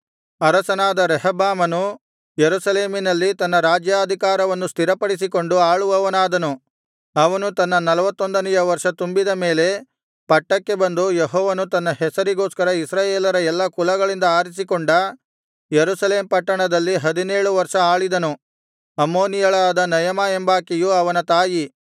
ಅರಸನಾದ ರೆಹಬ್ಬಾಮನು ಯೆರೂಸಲೇಮಿನಲ್ಲಿ ತನ್ನ ರಾಜ್ಯಾಧಿಕಾರವನ್ನು ಸ್ಥಿರಪಡಿಸಿಕೊಂಡು ಆಳುವವನಾದನು ಅವನು ತನ್ನ ನಲ್ವತ್ತೊಂದನೆಯ ವರ್ಷ ತುಂಬಿದ ಮೇಲೆ ಪಟ್ಟಕ್ಕೆ ಬಂದು ಯೆಹೋವನು ತನ್ನ ಹೆಸರಿಗೋಸ್ಕರ ಇಸ್ರಾಯೇಲರ ಎಲ್ಲಾ ಕುಲಗಳಿಂದ ಆರಿಸಿಕೊಂಡ ಯೆರೂಸಲೇಮ್ ಪಟ್ಟಣದಲ್ಲಿ ಹದಿನೇಳು ವರ್ಷ ಆಳಿದನು ಅಮ್ಮೋನಿಯಳಾದ ನಯಮಾ ಎಂಬಾಕೆಯು ಅವನ ತಾಯಿ